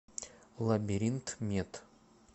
лабиринтмед